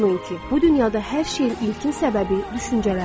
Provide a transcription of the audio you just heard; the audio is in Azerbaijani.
Unutmayın ki, bu dünyada hər şeyin ilkin səbəbi düşüncələrdir.